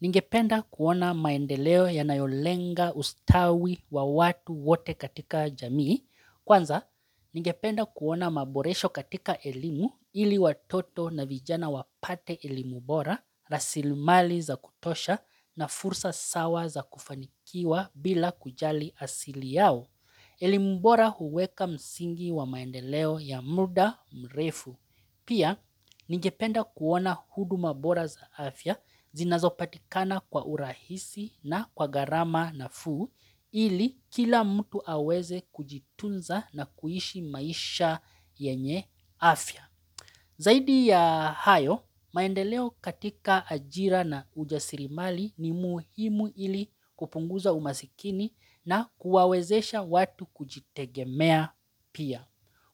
Ningependa kuona maendeleo yanayolenga ustawi wa watu wote katika jamii. Kwanza, ningependa kuona maboresho katika elimu ili watoto na vijana wapate elimu bora, rasilmali za kutosha na fursa sawa za kufanikiwa bila kujali asili yao. Elimu bora huweka msingi wa maendeleo ya muda mrefu. Pia, ningependa kuona huduma bora za afya zinazopatikana kwa urahisi na kwa gharama nafuu ili kila mtu aweze kujitunza na kuishi maisha yenye afya. Zaidi ya hayo, maendeleo katika ajira na ujasirimali ni muhimu ili kupunguza umasikini na kuwawezesha watu kujitegemea pia.